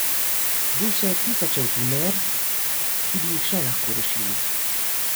Duše tisočev himer, ki bi jih še lahko rešili.